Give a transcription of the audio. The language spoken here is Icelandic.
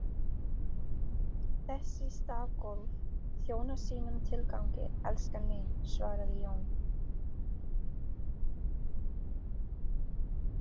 Þessi stafgólf þjóna sínum tilgangi, elskan mín, svaraði Jón.